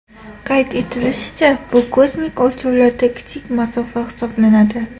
Qayd etilishicha, bu kosmik o‘lchovlarda kichik masofa hisoblanadi.